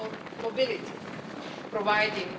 muy atentos a ellas.